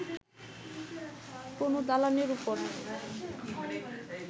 কোন দালানের ওপর